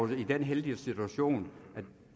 i den heldige situation at